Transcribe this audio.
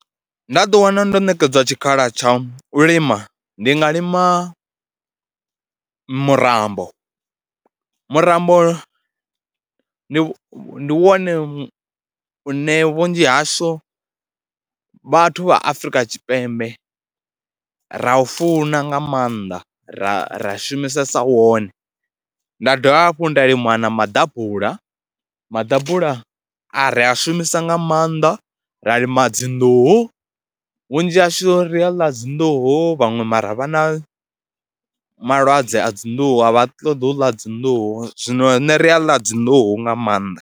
Nda ḓiwana ndo ṋekedzwa tshikhala tsha u lima ndi nga lima murambo, murambo ndi ndi wone une vhunzhi hashu vhathu vha Afrika Tshipembe ra u funa nga maanḓa, ra ra shumisesa wone. Nda dovha hafhu nda lima na maḓabula, maḓabula a ri a shumise nga maanḓa, ra lima dzi nḓuhu. Vhunzhi hashu ri a ḽa dzi nḓuhu, vhaṅwe mara vha na malwadze a dzi nḓuhu, a vha ṱoḓi u ḽa dzi nḓuhu, zwino nṋe ri a ḽa dzi nḓuhu nga maanḓa.